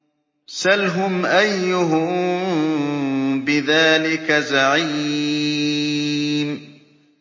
سَلْهُمْ أَيُّهُم بِذَٰلِكَ زَعِيمٌ